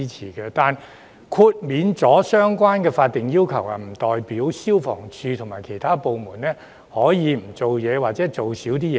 然而，豁免相關法定要求，不代表香港消防處及其他部門可以不做事或少做事。